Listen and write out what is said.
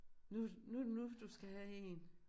Nu nu det nu du skal have én